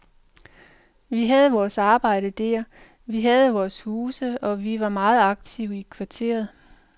Vi havde vores arbejde der, vi havde vores huse og vi var meget aktive i kvarteret.